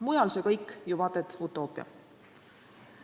Mujal on see kõik ju vaata et utoopia.